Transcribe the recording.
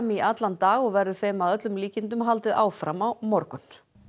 í allan dag og verður þeim að öllum líkindum haldið áfram á morgun